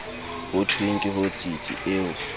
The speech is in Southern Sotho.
ho thweng ke hotsitsi eo